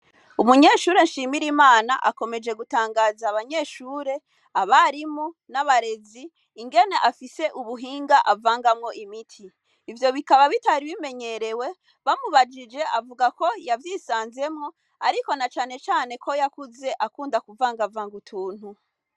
Umunyeshure nshimire imana akomeje gutangaza abanyeshure abarimu n'abarezi ingene afise ubuhinga avangamwo imiti, ivyo bikaba bitaribimenyerewe bamubajije avuga ko yavyisanzemwo, ariko na canecane ko yakuze akunda kuvangavanga utuntu.